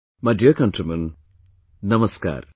My dear countrymen, Namaskar